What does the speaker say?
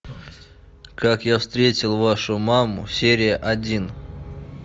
как я встретил вашу маму серия один